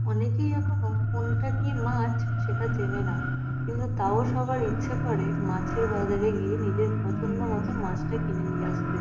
অনেকেই এখনো কোনটা কি মাছ সেটা চেনেনা কিন্তু তাও সবার ইচ্ছে করে মাছের বাজারে গিয়ে নিজের পছন্দ মতো মাছটা কিনে নিয়ে আসতে ।